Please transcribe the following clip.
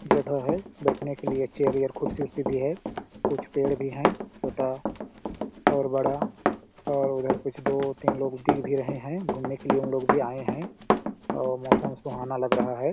जगह हे बैठने के लिए कुछ चेअर बेयर खुर्सी -उर्सी भी हे कुछ पेड़ भी हे छोटा और बड़ा और उधर कुछ दो तीन लोग भी दिख रहे है घूमने के लिए उन लोग ही आये हे और मौसम सुहाना लग रहा हे।